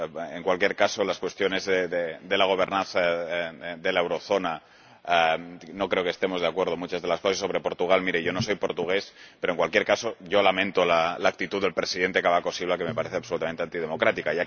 En cualquier caso, en las cuestiones de gobernanza de la eurozona, no creo que estemos de acuerdo en muchas de las cosas. Y sobre Portugal, mire, yo no soy portugués, pero en cualquier caso, yo lamento la actitud del presidente Cavaco Silva, que me parece absolutamente antidemocrática.